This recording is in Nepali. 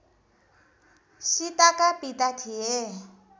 सीताका पिता थिए